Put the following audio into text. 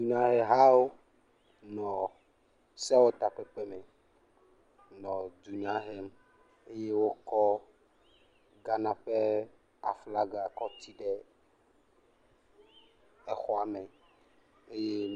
nyahe hawó nɔ sèwɔ takpeƒea me nɔ dunya hem eye wókɔ Ghana ƒe aflaga kɔ tsi ɖe exɔme